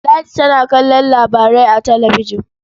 Ladi tana kallon labarai a talabijin.